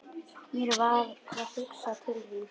Mér varð hugsað til þín.